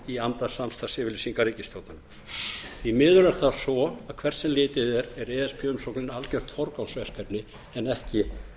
í anda samstarfsyfirlýsingar ríkisstjórnarinnar því miður er það svo að hvert sem árið er er e s b umsóknin algjört forgangsverkefni en ekki